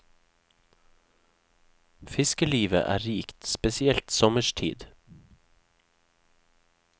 Fiskelivet er rikt, spesielt sommerstid.